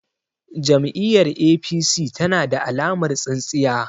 Jam'iyyar APC tana da alamar tsintsiya.